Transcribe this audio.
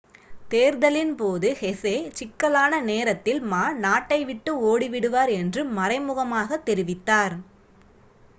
தேர்தலின் போது ஹெசே சிக்கலான நேரத்தில் மா நாட்டை விட்டு ஓடி விடுவார் என்று மறைமுகமாகத் தெரிவித்தார்